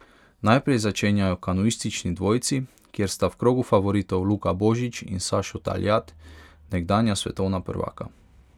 Najprej začenjajo kanuistični dvojci, kjer sta v krogu favoritov Luka Božič in Sašo Taljat, nekdanja svetovna prvaka.